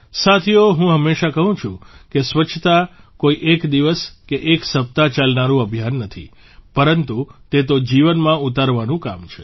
સાથીઓ હું હંમેશાં કહું છું કે સ્વચ્છતા કોઇ એક દિવસ કે એક સપ્તાહ ચાલનારૂં અભિયાન નથી પરંતુ તે તો જીવનમાં ઉતારવાનું કામ છે